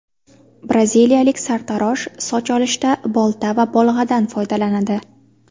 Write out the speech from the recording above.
Braziliyalik sartarosh soch olishda bolta va bolg‘adan foydalanadi .